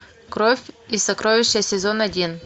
кровь и сокровища сезон один